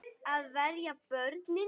Að verja börnin sín.